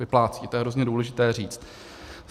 Vyplácí, to je hrozně důležité říct.